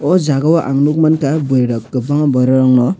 o jaga o ang nuk mankha burui rok kwbangma borok rog no.